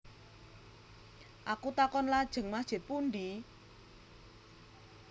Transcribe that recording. Aku takon Lajeng masjid pundi